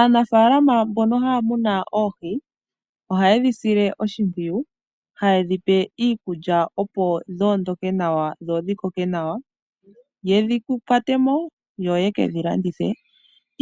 Aanafalama mbono haya muna oohi, ohaye dhisile oshipwiyu haye dhipe iikulya opo dhoondoke nawa dho dhikoke nawa, yedhi kwate mo yo yekedhi landithe